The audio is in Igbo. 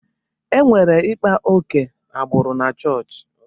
E nwere ịkpa ókè agbụrụ na-chọọchị.